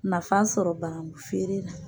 Nafa sɔrɔ banankun feere la